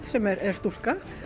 sem er stúlka